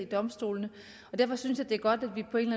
domstolene derfor synes jeg det er godt at vi på en